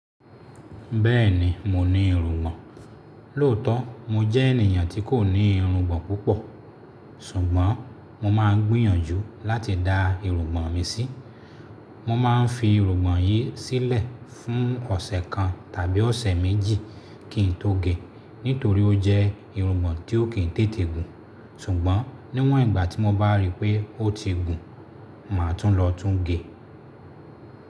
Bẹ́ẹ̀ni, mo ní irùngbọ̀n. Lóòótọ́ mo jẹ́ ènìyàn tí kò ní irùngbọ̀n púpọ̀, ṣùgbọ́n mo máa ń gbìyànjú láti da irùngbọ̀n mi sí. Mo má a fi irùngbọ̀n yìí sílẹ̀ fún ọ̀sẹ̀ kan tàbí ọ̀sẹ̀ méjì kí n tó ge, nítorí ó jẹ́ irùngbọ̀n tí ó kì í tètè gùn. Ṣùgbọ́n níwọ̀n ìgbà tí mo bá ríi pé ó ti gùn, mà á tún lọ tún ge.